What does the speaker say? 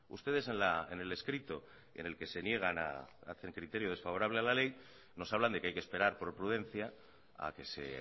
ustedes en el escrito en el que se niegan a hacer criterio desfavorable a la ley nos hablan de que hay que esperar por prudencia a que se